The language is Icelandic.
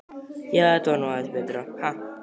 Já, þetta var nú aðeins betra, ha!